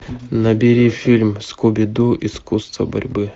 набери фильм скуби ду искусство борьбы